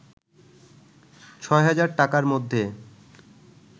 ৬০০০ টাকার মধ্যে